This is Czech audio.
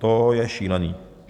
To je šílený!